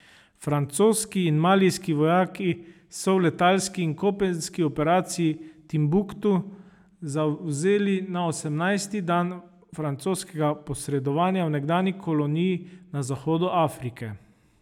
Francoski in malijski vojaki so v letalski in kopenski operaciji Timbuktu zavzeli na osemnajsti dan francoskega posredovanja v nekdanji koloniji na zahodu Afrike.